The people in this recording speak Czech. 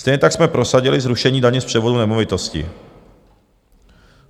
Stejně tak jsme prosadili zrušení daně z převodu nemovitosti.